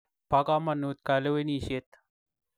Po kamonut kalewenisyet